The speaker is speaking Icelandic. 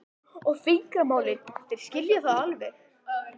og fingramálið, þeir skilja það alveg.